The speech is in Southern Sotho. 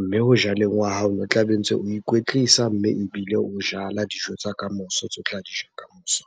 Mme ho jaleng wa hao, ono tlabe ntse o ikwetlisa mme ebile o jala dijo tsa kamoso tseo tla di ja kamoso.